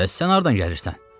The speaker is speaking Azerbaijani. Bəs sən hardan gəlirsən?